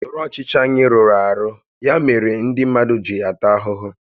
Usoro ọchịchị anyị rụrụ arụ, ya mere ndị mmadụ ji ata ahụhụ